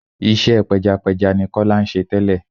Iṣẹ́ pẹjapẹja ni Kọ́lé ṣe tẹ́lẹ̀.